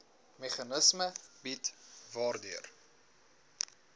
meganisme bied waardeur